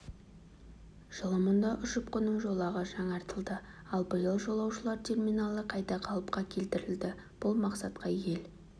жылы мұнда ұшып-қону жолағы жаңартылды ал биыл жолаушылар терминалы қайта қалыпқа келтірілді бұл мақсатқа ел